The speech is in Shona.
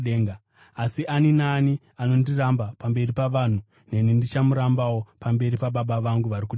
Asi ani naani anondiramba pamberi pavanhu, neni ndichamurambawo pamberi paBaba vangu vari kudenga.